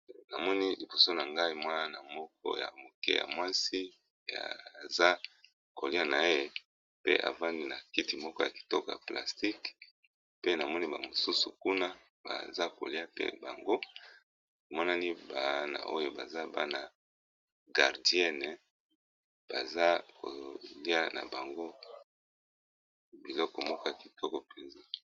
Namoni liboso na ngai mwana ya mwasi azolya avandi na kiti ya plastique pe namoni ba mosusu kuna baza kolya baza bana ya gardienne bazolya biloko ya kitoko penza.